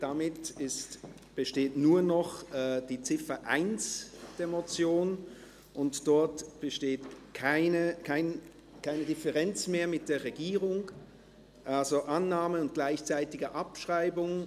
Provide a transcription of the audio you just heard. Damit besteht nur noch die Ziffer 1 der Motion, und dort besteht keine Differenz mehr mit der Regierung, also: Annahme und gleichzeitige Abschreibung.